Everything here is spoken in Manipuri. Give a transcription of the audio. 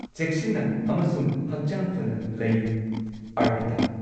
ꯆꯦꯛꯁꯤꯟꯅ ꯑꯃꯁꯨꯡ ꯍꯛꯆꯥꯡ ꯐꯅ ꯂꯩꯌꯨ ꯑꯔꯄꯤꯇꯥ꯫